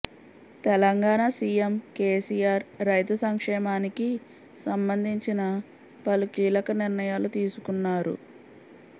Telangana CM KCR రైతు సంక్షేమానికి సంబంధించిన పలు కీలక నిర్ణయాలు తీసుకున్నారు